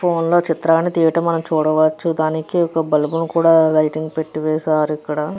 Phone లో చిత్రాన్ని తియ్యటం మనం చూడవచ్చు దానికి ఒక బల్బ్ ని కూడా లైటింగ్ పెట్టి వేశారు ఇక్కడ.